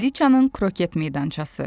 Kraliçanın kroket meydançası.